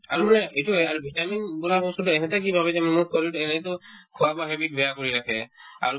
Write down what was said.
আৰুয়ে এইটোয়ে আৰু vitamin বোলা বস্তুতো এহঁতে কি ভাবে যেন মোক শৰীৰতো এনেতো খোৱা-বোৱা habit বেয়া কৰি ৰাখে আৰু